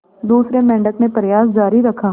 दूसरे मेंढक ने प्रयास जारी रखा